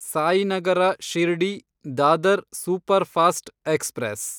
Sainagar ಶಿರ್ಡಿ–ದಾದರ್ superfast express